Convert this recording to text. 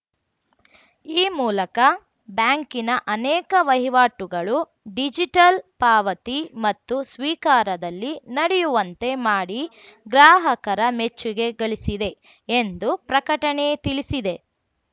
ಈ ಮೂಲಕ ಬ್ಯಾಂಕಿನ ಅನೇಕ ವಹಿವಾಟುಗಳು ಡಿಜಿಟಲ್‌ ಪಾವತಿ ಮತ್ತು ಸ್ವೀಕಾರದಲ್ಲಿ ನಡೆಯುವಂತೆ ಮಾಡಿ ಗ್ರಾಹಕರ ಮೆಚ್ಚುಗೆ ಗಳಿಸಿದೆ ಎಂದು ಪ್ರಕಟಣೆ ತಿಳಿಸಿದೆ